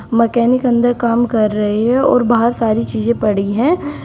Mechanic अंदर काम कर रहे हैं और बाहर सारी चीजे पड़ी है।